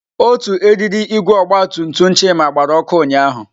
Otu eriri igwe ọgba tum tum Chima gbara ọkụ ụnyahụ.